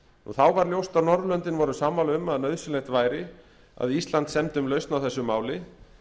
þá var ljóst að norðurlöndin voru sammála um að nauðsynlegt væri að ísland semdi um lausn á þessu máli